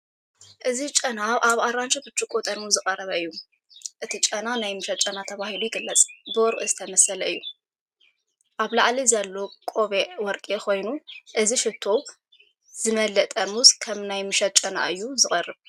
እዚ ጨና ኣብ ኣራንሺ ብርጭቆ ጥርሙዝ እዩ ዝቀረበ እዩ። እቲ ጨና ናይ ምሸት ጨና ተባሂሉ ይግለጽ፤’ብወርቂ ዝተሰለመ እዩ። ኣብ ላዕሊ ዘሎ ቆቢዕ ወርቂ ኮይኑ፡.እዚ ሽቶ ዝመልአ ጥርሙዝ ከም ናይ ምሸት ጨና እዩ ዝቐርብ።